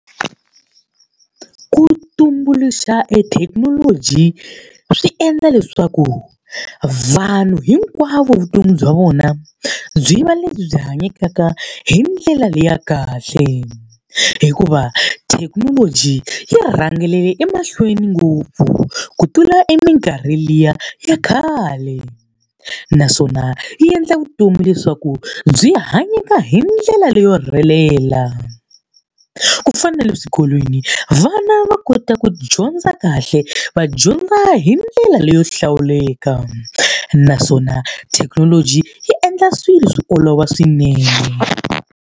Ku tumbuluxa ethekinoloji swi endla leswaku vanhu hinkwavo vutomi bya vona byi va lebyi byi hanyekaka hi ndlela leyi ya kahle. Hikuva thekinoloji yi rhangile emahlweni ngopfu ku tlula eminkarhi liya ya khale, naswona yi endla vutomi leswaku byi hanyeka hi ndlela leyo rhelela. Ku fana na le swikolweni vana va kota ku dyondza kahle, va dyondza hi ndlela leyo hlawuleka. Naswona thekinoloji yi endla swilo swi olova swinene.